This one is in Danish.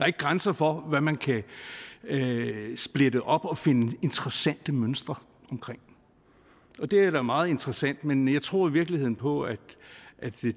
ikke grænser for hvad man kan splitte op og finde interessante mønstre i og det er da meget interessant men jeg tror i virkeligheden på at